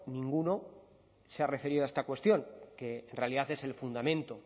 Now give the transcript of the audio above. ninguno se ha referido a esta cuestión que en realidad es el fundamento